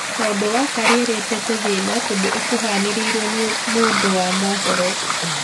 Kaũndu gaka riretete thina tondũ ikuhanirirwe ni mũndu wa mũhoro